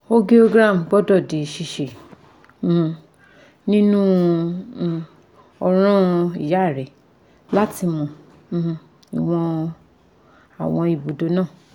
Angiogram gbọ́dọ̀ di ṣíṣe um nínú um ọ̀ràn ìyá rẹ láti mọ um ìwọ̀n àwọn ibùdó náà